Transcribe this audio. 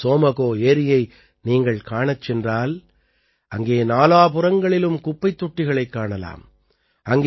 இன்று சோமகோ ஏரியை நீங்கள் காணச் சென்றால் அங்கே நாலாபுறங்களிலும் குப்பைத் தொட்டிகளைக் காணலாம்